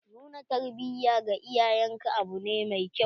Nuna tarbiya ga iyayen ka abu ne mai kyau.